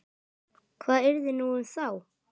Hvað yrði nú um þá?